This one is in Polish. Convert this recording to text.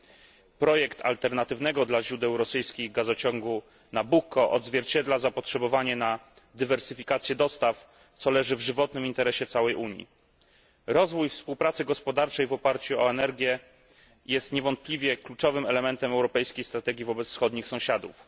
Projekt Nabucco, dotyczący alternatywnego gazociągu wobec źródeł rosyjskich dostaw gazu, odzwierciedla zapotrzebowanie na dywersyfikację dostaw, co leży w żywotnym interesie całej Unii. Rozwój współpracy gospodarczej w oparciu o energię jest niewątpliwie kluczowym elementem europejskiej strategii wobec wschodnich sąsiadów.